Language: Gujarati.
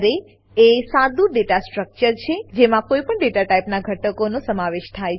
અરે એરે એ સાદું ડેટા સ્ટ્રક્ચર છે જેમાં કોઈપણ ડેટા ટાઈપનાં ઘટકોનો સમાવેશ થાય છે